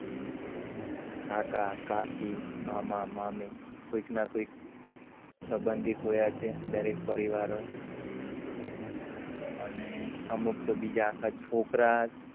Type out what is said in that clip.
કાકા -કાકી, maમાં મામી કોઈક ના કોઈક સહબંધિઓ ખોયા છે દરેક પરિવારોને અને અમુક તો બીજા આખા છોકરા જ,